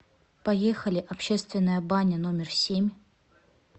поехали общественная баня номер семь